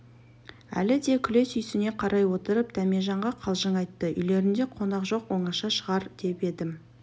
әлі де күле сүйсіне қарай отырып дәмежанға қалжың айтты үйлерінде қонақ жоқ оңаша шығар деп едім